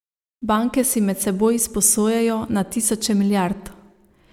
Banke si med seboj izposojajo na tisoče milijard.